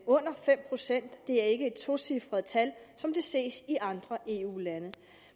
fem procent det er ikke et tocifret tal som det ses i andre eu lande